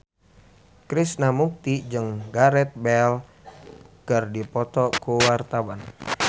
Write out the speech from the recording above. Krishna Mukti jeung Gareth Bale keur dipoto ku wartawan